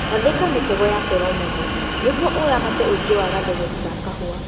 Gathĩka mĩtego ya pheromone nĩguo ũramate ũingi wa gathegethi ga kahũa